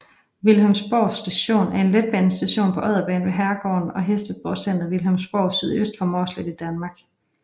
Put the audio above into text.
Vilhelmsborg Station er en letbanestation på Odderbanen ved herregården og hestesportscenteret Vilhelmsborg sydøst for Mårslet i Danmark